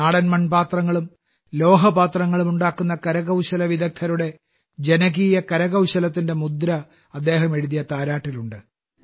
നാടൻ മൺപാത്രങ്ങളും ലോഹപാത്രങ്ങളും ഉണ്ടാക്കുന്ന കരകൌശല വിദഗ്ധരുടെ ജനകീയ കരകൌശലത്തിന്റെ മുദ്ര അദ്ദേഹം എഴുതിയ താരാട്ടിലുണ്ട്